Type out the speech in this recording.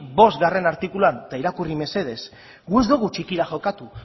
puntu bost artikuluan eta irakurri mesedez guk ez dugu txikira jokatu